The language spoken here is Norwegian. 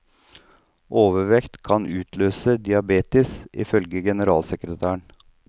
Overvekt kan utløse diabetes, ifølge generalsekretæren.